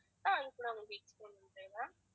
அது கூட உங்களுக்கு explain பணறேன் ma'am